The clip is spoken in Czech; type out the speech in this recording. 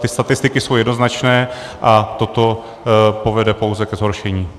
Ty statistiky jsou jednoznačné a toto povede pouze ke zhoršení.